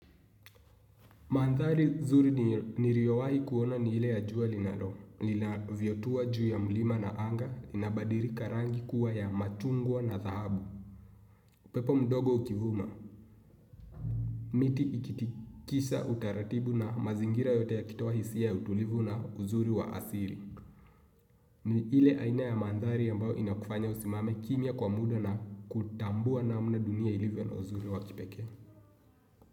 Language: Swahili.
Mandhari nzuri niliowahi kuona ni ile ya jua linalo, lilavyotua juu ya mlima na anga, inabadilika rangi kuwa ya machungwa na dhahabu. Upepo mdogo ukivuma, miti ikitikisha utaratibu na mazingira yote yakitoa hisia ya utulivu na uzuri wa asili. Ni ile aina ya mandhari ambao inakufanya usimame kimya kwa muda na kutambua namna dunia ilivyo na uzuri wa kipeke.